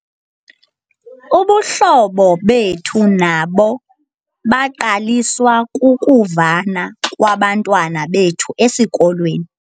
Ubuhlobo bethu nabo baqaliswa kukuvana kwabantwana bethu esikolweni.